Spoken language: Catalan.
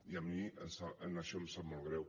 i a mi això em sap molt greu